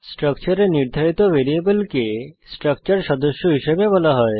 স্ট্রাকচারে নির্ধারিত ভ্যারিয়েবলকে স্ট্রাকচার সদস্য হিসেবে বলা হয়